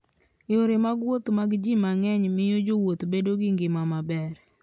Yore mag wuoth mag ji mang'eny miyo jowuoth bedo gi ngima maber.